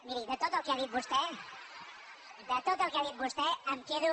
miri de tot el que ha dit vostè de tot el que ha dit vostè em quedo